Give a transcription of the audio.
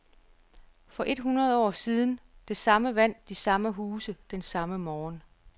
For et hundrede år siden, det samme vand, de samme huse, den samme morgen.